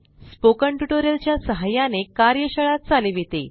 spoken tutorial च्या सहाय्याने कार्यशाळा चालविते